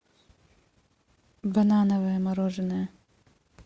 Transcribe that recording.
банановое мороженое